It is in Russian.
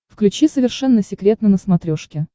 включи совершенно секретно на смотрешке